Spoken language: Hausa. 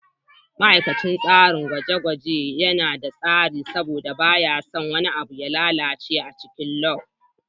Ma'aikacin dakin gwaje-gwaje yana da tsari saboda baya son wani abu ya lalace a cikin lab.